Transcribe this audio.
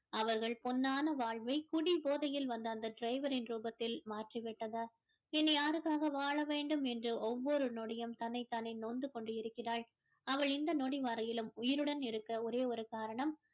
அவர்கள் பொன்னான வாழ்வை குடி போதையில் வந்த அந்த driver ரின் ரூபத்தில் மாற்றி விட்டது இனி யாருக்காக வாழ வேண்டும் என்று ஒவ்வொரு நொடியும் தன்னைத் தானே நொந்து கொண்டு இருக்கிறாள் அவள் இந்த நொடி வரையிலும் உயிருடன் இருக்க ஒரே ஒரு காரணம்